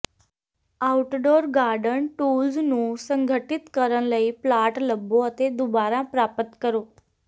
outdoor garden tools ਨੂੰ ਸੰਗਠਿਤ ਕਰਨ ਲਈ ਪਲਾਟ ਲੱਭੋ ਅਤੇ ਦੁਬਾਰਾ ਪ੍ਰਾਪਤ ਕਰੋ